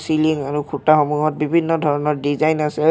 তিনি খুঁটাসমূহত বিভিন্ন ধৰণৰ ডিজাইন আছে